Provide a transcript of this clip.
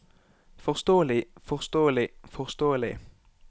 forståelig forståelig forståelig